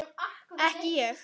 Ekki ég.